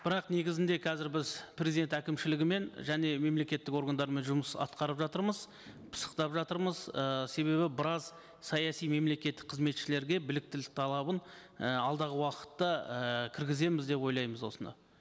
бірақ негізінде қазір біз президент әкімшілігімен және мемлекеттік органдармен жұмыс атқарып жатырмыз пысықтап жатырмыз ы себебі біраз саяси мемлекеттік қызметшілерге біліктілік талабын і алдағы уақытта і кіргіземіз деп ойлаймыз осыны